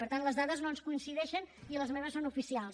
per tant les dades no ens coincideixen i les meves són oficials